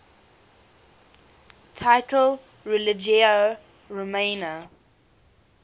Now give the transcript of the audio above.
title religio romana